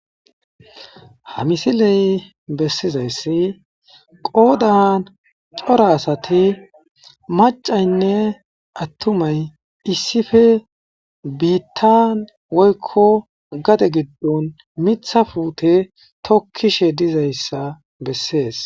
Ha misiley besizaysi qoodan cora asati maccaynne attumay issippe biitan woykko gade giddon miththa puute tokiishe dizayssa besees.